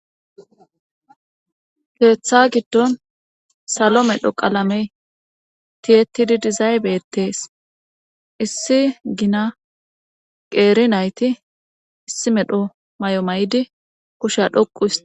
keeththa giddon salo medho qalamey tiyetidi dizaybetees issi gina qeeri nayti issi medho mayo mayidi kusha dhoqu hisiti